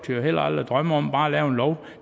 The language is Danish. jo heller aldrig drømme om bare at lave en lov